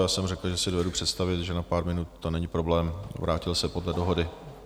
Já jsem řekl, že si dovedu představit, že na pár minut to není problém, vrátil se podle dohody.